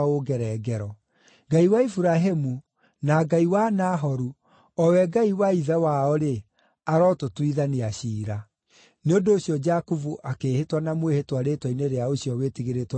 Ngai wa Iburahĩmu, na Ngai wa Nahoru, o we Ngai wa ithe wao-rĩ, arotũtuithania ciira.” Nĩ ũndũ ũcio Jakubu akĩĩhĩta na mwĩhĩtwa rĩĩtwa-inĩ rĩa ũcio Wĩtigĩrĩtwo nĩ ithe Isaaka.